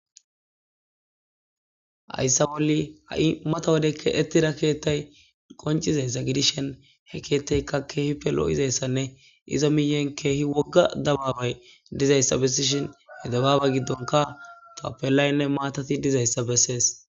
hayssa bolli ha7i mata wodeykka ettira keettay qoncizassa gidishen he keettaykka keehi pe lo7izayssanne izo miyen keehi wogga dababay dizayssa bessishin he dababa giddonka tappelaynne maatati dizayssa bessees